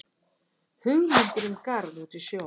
Hugmyndir um garð út í sjó